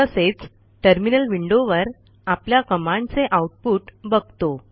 तसेच टर्मिनल विंडोवर आपल्या कमांडचे आउटपुट बघतो